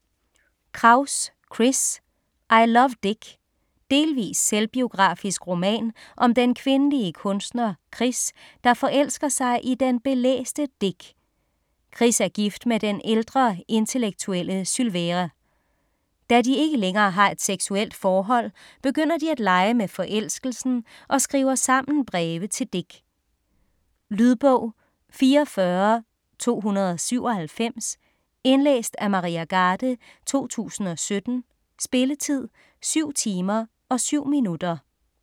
Kraus, Chris: I love Dick Delvis selvbiografisk roman om den kvindelige kunstner Chris, der forelsker sig i den belæste Dick. Chris er gift med den ældre, intellektuelle Sylvere. Da de ikke længere har et seksuelt forhold, begynder de at lege med forelskelsen og skriver sammen breve til Dick. Lydbog 44297 Indlæst af Maria Garde, 2017. Spilletid: 7 timer, 7 minutter.